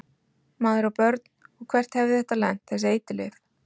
Maður á börn og hvert hefði þetta lent, þessi eiturlyf?